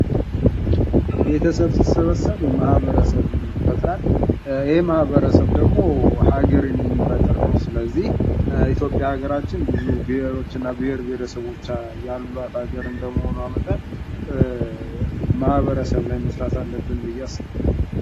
ቤተሰብ ሲሰበሰብ ማህበረሰብን ይፈጥራል ይሄ ማህበረሰብ ደግሞ ሃገርን የሚፈጥር ነው ስለዚህ በኢትዮጵያ ሀገራችን ብዙ ብሔሮች እና ብሔረሰቦች ያሏት ሀገር እንደመሆኗ መጠን ማህበረሰብ ላይ መስራት አለብን ብዬ አስባለሁ::